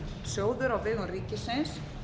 húsnæðislánasjóður á vegum ríkisins